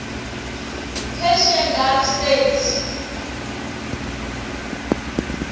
persian gulf states